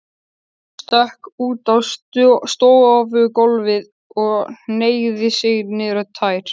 Stökk út á stofugólfið og hneigði sig niður í tær.